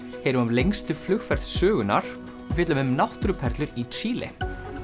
heyrum af lengstu flugferð sögunnar og fjöllum um náttúruperlur í Síle